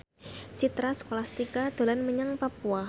Citra Scholastika dolan menyang Papua